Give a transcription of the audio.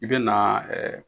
I bɛ na ɛɛ